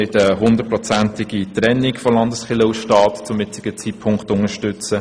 Wir unterstützen zum jetzigen Zeitpunkt auch keine völlige Trennung von Kirche und Staat.